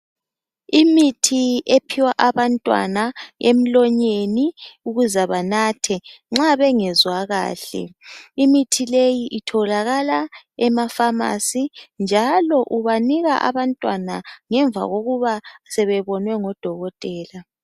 Imithi ephiwa abantwana emlonyeni ukuze benathe nxa bengezwa kahle. Imithi leyi itholakala ema pharmacy njalo ubanika abantwana ngemva kokuba sebebonwe ngudokotela.